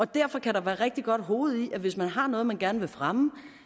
derfor kan der være rigtig godt hoved i at hvis man har noget man gerne vil fremme